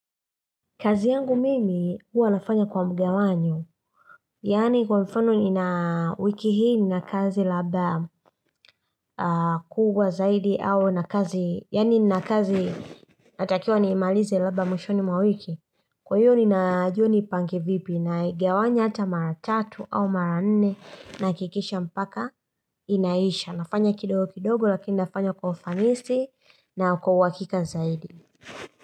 Kazi yangu mimi huwa nafanya kwa mgawanyo. Yaani kwa mfano ni na wiki hii ni na kazi labda kubwa zaidi au na kazi. Yaani nina kazi natakiwa nimalize labda mwishoni mwa wiki. Kwa hiyo ni na jua ni pange vipi naigawanya hata mara tatu au mara nne nahakikisha mpaka inaisha. Nafanya kidogo kidogo lakini nafanya kwa ufanisi na kwa uhakika zaidi.